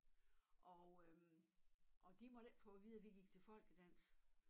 Og øh og de måtte ikke få at vide at vi gik til folkedans